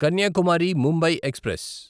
Kanyakumari Mumbai express